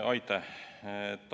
Aitäh!